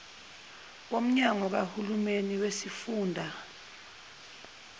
womnyango kahulumeni wesifunda